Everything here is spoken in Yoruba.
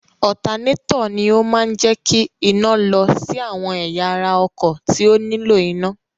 Ọ̀tanátọ̀ ni ó máa ń jẹ́ kí iná lọ sí àwọn ẹ̀yà ara ọkọ̀ tí ó nílò iná.